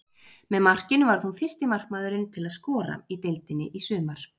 Með markinu varð hún fyrsti markmaðurinn til að skora í deildinni í sumar.